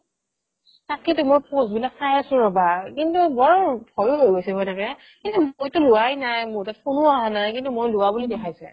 তাকেইটো মই post বিলাক চাই আছো ৰবা কিন্তু বৰ ভয়ো হয় গৈছে এনেকে এই মইটো লুৱাই নাই মোৰ হাতত phone ও আহা নাই কিন্তু মই লুৱা বুলি দেখাইছে